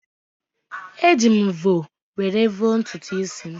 Eji m mvọ were vọọ ntutu isi m.